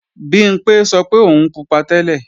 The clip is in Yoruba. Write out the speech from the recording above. Bimpé sọ pé òun pupa tẹ́lẹ̀